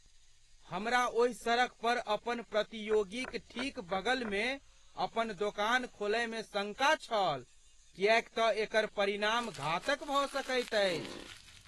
हमरा ओही सड़कपर अपन प्रतियोगीक ठीक बगलमे अपन दोकान खोलयमे शंका छल किएक तँ एकर परिणाम घातक भऽ सकैत अछि।